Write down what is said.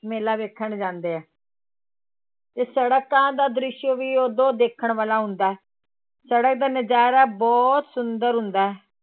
ਮੇਲਾ ਵੇਖਣ ਜਾਂਦੇ ਆ ਤੇ ਸੜਕਾਂ ਦਾ ਦ੍ਰਿਸ਼ ਵੀ ਉਦੋਂ ਦੇਖਣ ਵਾਲਾ ਹੁੰਦਾ ਹੈ, ਸੜਕ ਦਾ ਨਜ਼ਾਰਾ ਬਹੁਤ ਸੁੰਦਰ ਹੁੰਦਾ ਹੈ।